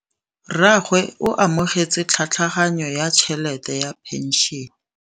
Rragwe o amogetse tlhatlhaganyô ya tšhelête ya phenšene.